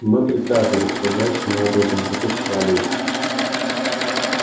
мы приказывали строжайшим образом запрещали им